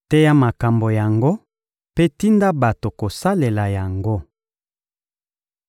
Teya makambo yango mpe tinda bato kosalela yango.